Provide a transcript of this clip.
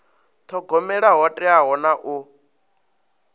thogomela ho teaho na u